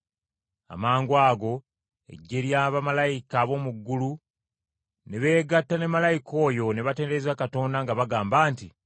Amangwago eggye lya bamalayika ab’omu ggulu ne beegatta ne malayika oyo ne batendereza Katonda nga bagamba nti,